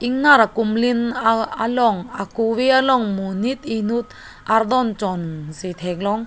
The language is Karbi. ingnar ka kumlin aa along akove along monit inut ardonchon si theklong.